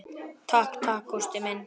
Takk takk, Gústa mín.